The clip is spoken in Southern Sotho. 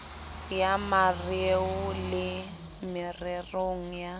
ya mareo le mererong ya